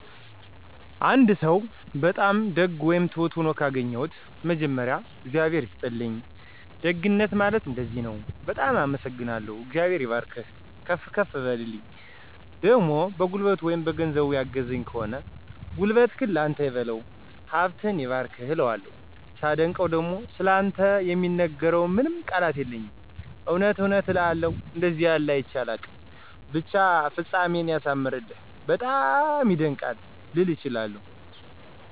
አንድ ሰው በጣም ደግ ወይም ትሁት ሆኖ ካገኘሁት መጀመሪያ “እግዚአብሔር ይስጥልኝ፣ ደግነት ማለት እንደዚህ ነው፤ በጣም አመሰግናለሁ፣ እግዚአብሔር ይባርክህ፤ ከፍ በልልኝ“ ፣ደሞ በጉልበቱ ወይም በገንዘብ ያገዘኝ ከሆነ “ጉልበትህን ላንተ ይበለው፣ ሀብትህ ይባረክ “ እለዋለሁ። ሳደንቀው ደሞ “ስላንተ የምናገረው ምንም ቃላት የለኝም እውነት እውነት እውነት አንደዚህ ያለ አይቸ አላውቅም ብቻ ፍጻሜህን ያሳምርልህ፤ በጣም ይደንቃል! “ልል እችላለሁ።